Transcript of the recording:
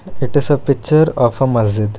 It is a picture of a masjid.